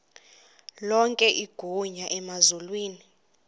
lonke igunya emazulwini